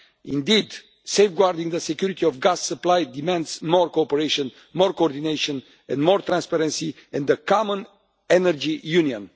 Indeed, safeguarding the security of gas supply demands more cooperation, more coordination and more transparency in the common energy union.